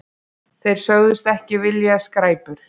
Þeir sögðust ekki vilja skræpur.